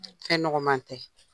Fɛn nɔgɔma tɛ.